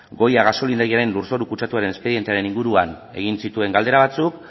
goya gasolindegiaren lurzoru kutsaduraren espedientearen inguruan egin zituen galdera batzuk